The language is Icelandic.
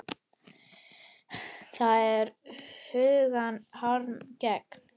Það er huggun harmi gegn.